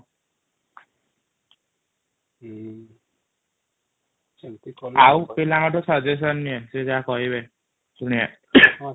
ଆଉ ପିଲାଙ୍କ ଠୁ ସୁଗଏଷ୍ଟିଅନ ନିଏ ସେ ଯାହା କହିବେ ଶୁନିଆ